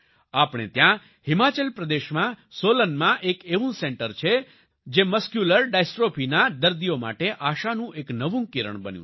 આપણે ત્યાં હિમાચલ પ્રદેશમાં સોલનમાં એક એવું સેન્ટર છે જે મસ્ક્યુલર ડિસ્ટ્રોફી ના દર્દીઓ માટે આશાનું એક નવું કિરણ બન્યું છે